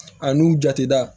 A n'u jate da